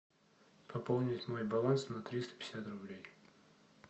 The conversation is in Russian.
пополнить мой баланс на триста пятьдесят рублей